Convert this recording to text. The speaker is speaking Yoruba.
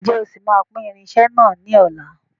Ǹjẹ́ o sì máa pín irinsẹ́ náà ni ọ̀la?